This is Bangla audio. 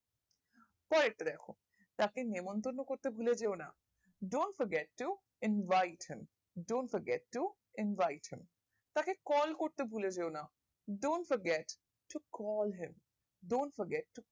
পরের টা দ্যাখো তাকে নেমন্তণ করতে ভুলে যেও না don't forget to invite him don't forget to invite him তাকে কল করতে ভুলেযেওনা don't forget to call him don't forget to